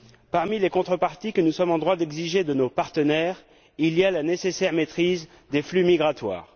Parmi les contreparties que nous sommes en droit d'exiger de nos partenaires figure la nécessaire maîtrise des flux migratoires.